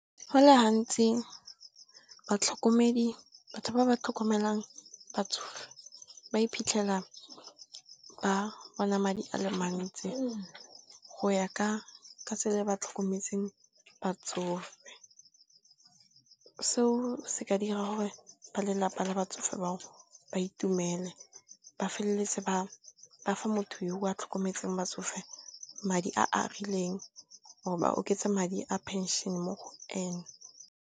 Fa le gantsi batlhokomedi, batho ba ba tlhokomelang batsofe ba iphitlhela ba bona madi ale mantsi go ya ka tsela e ba tlhokometseng batsofe. Seo se ka dira gore ba lelapa la batsofe bao ba itumele, ba feleletse ba fa motho yo o a tlhokometseng batsofe madi a a rileng or ba oketse madi a phenšene mo go ene.